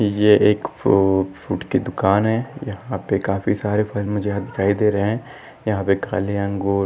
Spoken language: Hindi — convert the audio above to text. ये एक फ्रु फ्रुट कि दुकान है यहा पे काफी सारे फल मुझे याहा दिखाई दे रहे है यहा पे खाली अंगूर--